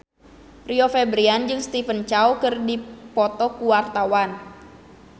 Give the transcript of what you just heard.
Rio Febrian jeung Stephen Chow keur dipoto ku wartawan